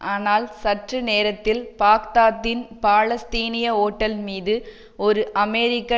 ஆனால் சற்று நேரத்தில பாக்தாத்தின் பாலஸ்தீனிய ஓட்டல் மீது ஒரு அமெரிக்க